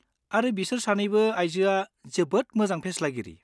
आरो बिसोर सानैबो आइजोआ जोबोद मोजां फेस्लागिरि।